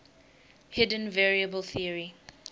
hidden variable theory